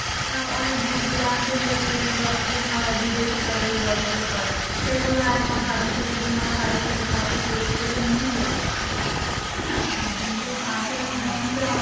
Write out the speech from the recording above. অনেক দূর দূরান্তে যেগুলো দুর্গাপুজো হয় বিদেশে ধরে দুর্গাপূজা হয় সেগুলো একমাস আগে থেকে দুমাস আগের থেকে ঠাকুর তৈরি করে নিয়ে চলে যাচ্ছে । ঠিক না কিন্তু আসল নিয়ম তো,